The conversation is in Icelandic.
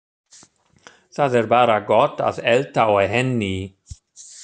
Það er bara gott að elda á henni